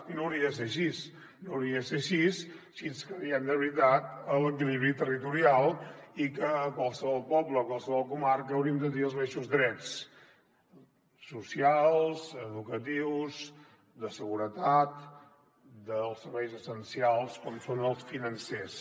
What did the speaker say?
i no hauria de ser així no hauria de ser així si ens creiem de veritat l’equilibri territorial i que a qualsevol poble o qualsevol comarca hauríem de tenir els mateixos drets socials educatius de seguretat dels serveis essencials com són els financers